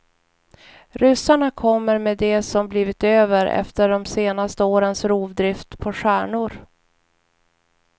Ryssarna kommer med det som blivit över efter de senaste årens rovdrift på stjärnor.